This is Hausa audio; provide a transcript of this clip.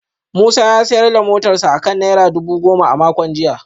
Musa ya sayar da motarsa ​​akan naira dubu goma a makon jiya